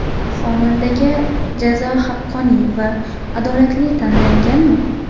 Xonandaga jazo haqqoniy va adolatli tanlanganmi?